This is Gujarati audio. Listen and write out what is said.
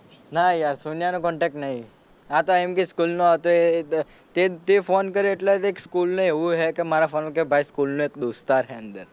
ના યાર સોનીયા નો contact નહીં આ તો એમ કે સ્કૂલ નો હતો એ તે તે ફોન કર્યો એટલે દેખ સ્કૂલ ને એવું હે કે મારા ફોન માં કે ભાઈ સ્કૂલ નો એક દોસ્તાર હે અંદર.